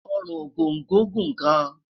Orun Ogongo Gun gan